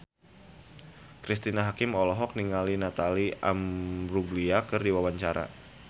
Cristine Hakim olohok ningali Natalie Imbruglia keur diwawancara